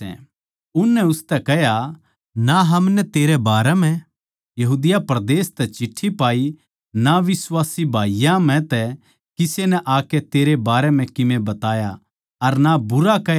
उननै उसतै कह्या ना हमनै तेरै बारै म्ह यहूदिया परदेस तै चिट्ठी पाई अर ना बिश्वासी भाईयाँ म्ह तै किसे नै आकै तेरै बारै म्ह कीमे बताया अर ना भूंडा कह्या